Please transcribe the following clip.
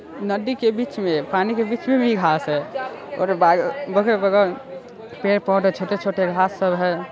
नदी के बीच में पानी के बीच में भी घांस है पेड़- पौधे छोटे-छोटे घांस सब है।